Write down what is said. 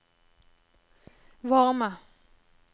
varme